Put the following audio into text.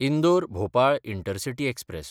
इंदोर–भोपाळ intercity express